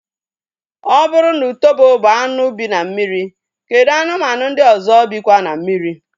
Ọ bụrụ na utobo bụ anụ bi na mmiri, kedụ anụmanụ ndị ọzọ bikwa na mmiri?